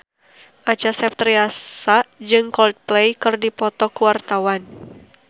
Acha Septriasa jeung Coldplay keur dipoto ku wartawan